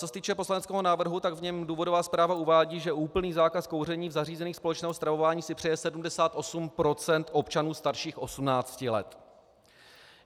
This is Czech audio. Co se týče poslaneckého návrhu, tak v něm důvodová zpráva uvádí, že úplný zákaz kouření v zařízeních společného stravování si přeje 78 % občanů starších 18 let.